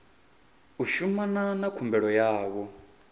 u shumana na khumbelo yavho